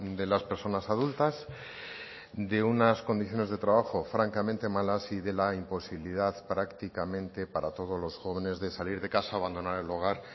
de las personas adultas de unas condiciones de trabajo francamente malas y de la imposibilidad prácticamente para todos los jóvenes de salir de casa abandonar el hogar